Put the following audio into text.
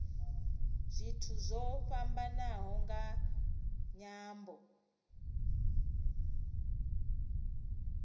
zwithu zwo fhambanaho nga nyambo